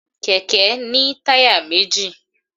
kẹkẹ ni tayá mejí